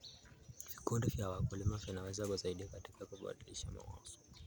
Vikundi vya wakulima vinaweza kusaidia katika kubadilishana mawazo.